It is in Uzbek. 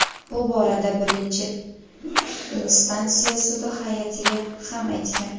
Bu borada birinchi instansiya sudi hay’atiga ham aytgan.